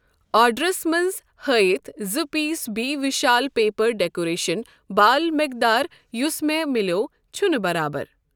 آرڈرَس منٛز ہٲیِتھ زٕ پیٖس بی وِشال پیپر ڈٮ۪کریشن بال مٮ۪قدار یُس مےٚ مِلٮ۪و چھنہٕ برابر۔